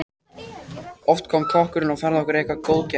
Oft kom kokkurinn og færði okkur eitthvert góðgæti.